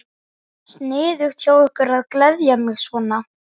Sniðugt hjá ykkur að gleðja mig svona.